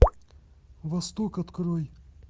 восток открой